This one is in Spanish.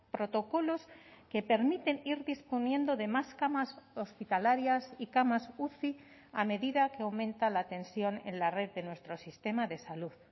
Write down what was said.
protocolos que permiten ir disponiendo de más camas hospitalarias y camas uci a medida que aumenta la atención en la red de nuestro sistema de salud